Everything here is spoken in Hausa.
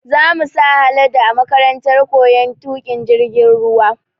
Za mu sa Haladu a makarantar koyon tuƙin jirgin ruwa